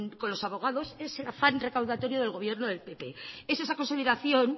con los abogados es el afán recaudatorio del gobierno del pp es esa consolidación